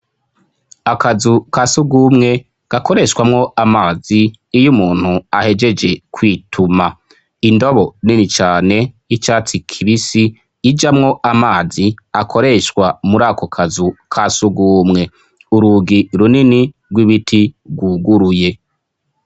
Akazu kasugumwe gakoreshwamwo amazi iyo umuntu ahegeje kwituma, indobo nini cane y'icatsi kibisi ijamwo amazi akoreshwa muri ako kazu kasugumwe, urugi runini rw'ibiti rwuguruye.